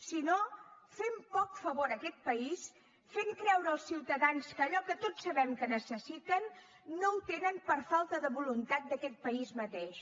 si no fem poc favor a aquest país fent creure als ciutadans que allò que tots sabem que necessiten no ho tenen per falta de voluntat d’aquest país mateix